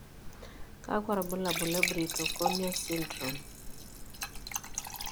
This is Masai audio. Kakwa ibulabul le Brittle cornea syndrome?